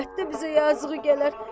Əlbəttə bizə yazığı gələr.